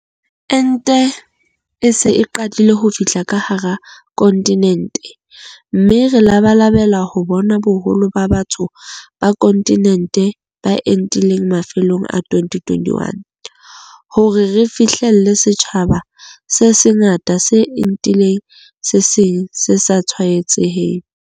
Ente e se e qadile ho fihla ka hara kontinente mme re labalabela ho bona boholo ba batho ba kontinente ba entile mafelong a 2021, hore re fihlelle setjhaba se sengata se entileng se seng se sa tshwaetsehe.